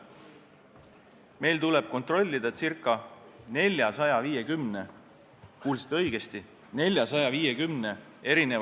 Meil tuleb kontrollida ca 450 – kuulsite õigesti!